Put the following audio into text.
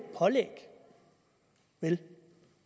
pålæg vel